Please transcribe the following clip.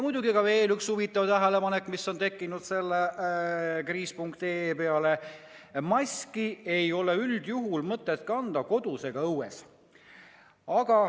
Ja veel üks huvitav tähelepanek, mis on tekkinud kriis.ee põhjal: maski ei ole üldjuhul mõtet kanda kodus ega õues.